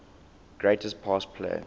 greatest pass play